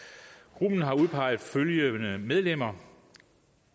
grupperne har udpeget følgende medlemmer